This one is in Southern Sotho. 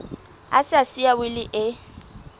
a sa siya wili e